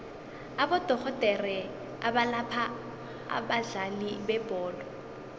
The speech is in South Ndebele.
abodorhodere abalapha abadlali bebholo